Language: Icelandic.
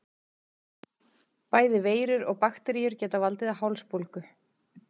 Bæði veirur og bakteríur geta valdið hálsbólgu.